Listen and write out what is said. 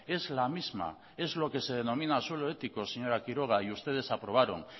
es la misma es lo que se denomina suelo ético señora quiroga y ustedes aprobaron